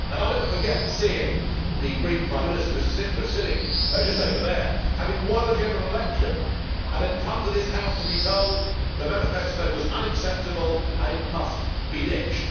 I never forget seeing the Greek Prime Minister, Mr Tsipras, sitting just over there, having won a general election, and then come to this House to be told the manifesto was unacceptable and it must be ditched.